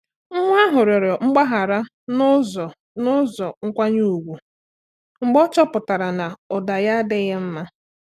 Nwa ahụ rịọrọ mgbaghara n’ụzọ n’ụzọ nkwanye ùgwù mgbe ọ chọpụtara na ụda ya adịghị mma.